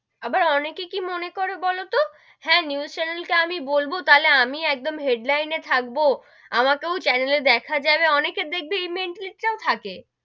এ